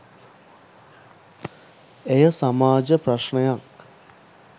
එය සමාජ ප්‍රශ්නයක්